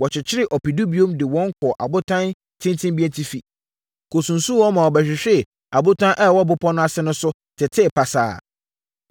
Wɔkyekyeree ɔpedu bio de wɔn kɔɔ abotan tenten bi atifi, kɔsunsumm wɔn ma wɔbɛhwee abotan a ɛwɔ bepɔ no ase no so, tetee pasapasa.